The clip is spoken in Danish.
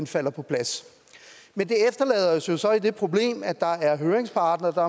falder på plads men det efterlader os jo så med det problem at der er høringsparter der